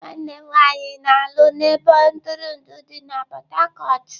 Nwanne m nwanyị na-alụ na ebe ntụrụndụ dị na Port Harcourt.